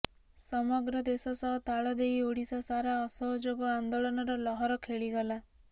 ସମଗ୍ର ଦେଶ ସହ ତାଳଦେଇ ଓଡ଼ିଶା ସାରା ଅସହଯୋଗ ଆନ୍ଦୋଳନର ଲହର ଖେଳିଗଲା